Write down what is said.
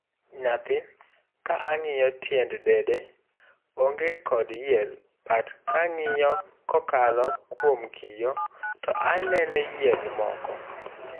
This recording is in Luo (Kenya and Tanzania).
Nyathi-''kang'iyo tiend dede, oonge kod yierbut kang'iye kokalo kuom kiyoo ,to aneno yier moko''